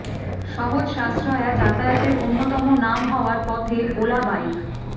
সহজ সাশ্রয়া যাতায়াতের অন্যতম নাম হওয়ার পথে ওলা বাইক